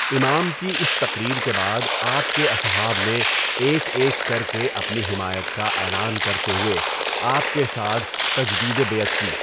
امام کی اس تقریر کے بعد آپ کے اصحاب نے ایک ایک کر کے اپنی حمایت کا اعلان کرتے ہوئے آپ کے ساتھ تجدیدِ بیعت کی۔